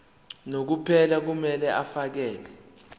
unomphela kumele afakele